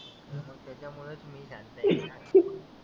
हो मग त्याच्यामुळ मी शांत आहे.